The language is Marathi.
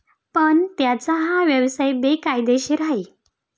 पण त्यांचा हा व्यवसाय बेकायदेशीर आहे.